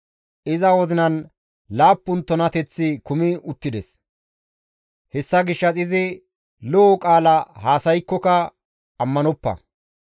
Iza wozinan laappun tunateththi kumi uttides; hessa gishshas izi lo7o qaala haasaykkoka ammanoppa.